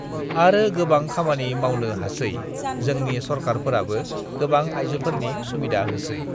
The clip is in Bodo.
आरो गोबां खामानि मावनो हासै जोंनि सरकारफोराबो गोबां आइजोफोरनि सुबिदा होसेै